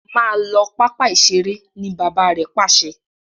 mọ ló papa iṣere.! ní bàbá rẹ Pàṣẹ!